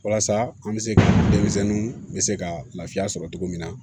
Walasa an bɛ se ka denmisɛnninw bɛ se ka lafiya sɔrɔ cogo min na